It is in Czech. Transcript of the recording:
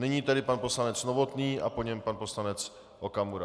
Nyní tedy pan poslanec Novotný a po něm pan poslanec Okamura.